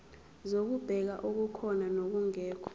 zokubheka okukhona nokungekho